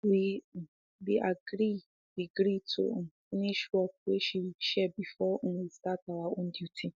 we um be gree be gree to um finsh work wey de share before um we start our own duty